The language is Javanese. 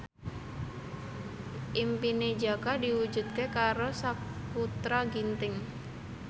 impine Jaka diwujudke karo Sakutra Ginting